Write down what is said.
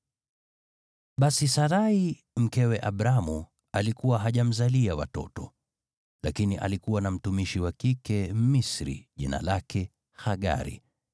Basi Sarai, mkewe Abramu, alikuwa hajamzalia watoto. Lakini alikuwa na mtumishi wa kike Mmisri jina lake Hagari,